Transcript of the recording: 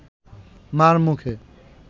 মার মুখে